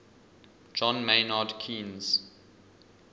john maynard keynes